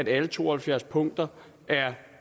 alle to og halvfjerds punkter er